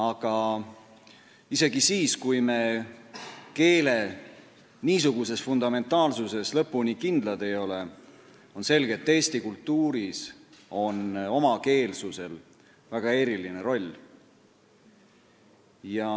Aga isegi siis, kui me keele niisuguses fundamentaalsuses lõpuni kindlad ei ole, on selge, et eesti kultuuris on omakeelsusel väga eriline roll.